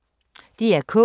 DR K